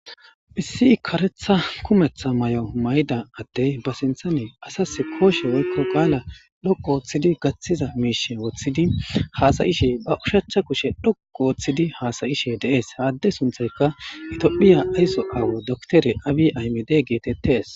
hissi karetha kumetha may7o may7da addey ba sinthane asas kooshe woykko qaala dhokko wooththidi gaththiza miishe woththidi haasayishe ba ushachcha kushe dhoko ooththidi haasayishe deees haadde sunthayka itphiya ayso aawo doktere aabi aymide geetettees